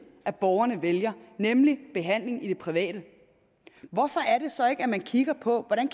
at borgerne vælger nemlig behandling i det private hvorfor er det så ikke at man kigger på hvordan